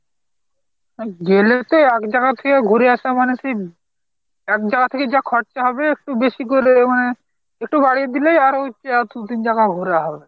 গেলে তো একজাগা থেকে ঘুরে আসা মানে সেই একজাগা থেকে যা খরচা হবে একটু বেশি করে মানে একটু বাড়িয়ে দিলে আরো দু তিন জাগা ঘোরা হবে।